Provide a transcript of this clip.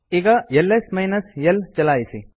ಈಗ ls minus l ಚಲಾಯಿಸಿ